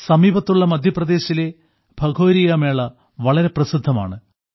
സമീപത്തുള്ള മദ്ധ്യപ്രദേശിലെ ഭഗോരിയ മേള വളരെ പ്രസിദ്ധമാണ്